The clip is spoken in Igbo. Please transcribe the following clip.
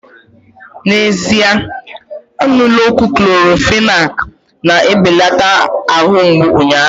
N'ezie aṅụla ọgwụ Clorofenak na-ebelata ahụ mgbụ unyaahu